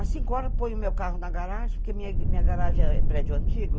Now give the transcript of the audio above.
Mas cinco horas eu ponho meu carro na garagem, porque minha garagem é prédio antigo.